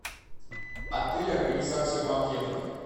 отель организация банкетов